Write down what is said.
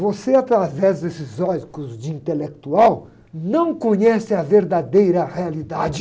Você, através desses óculos de intelectual, não conhece a verdadeira realidade.